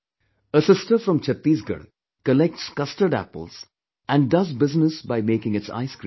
Asister from Chhattisgarh collects custard apple and does business by making its ice cream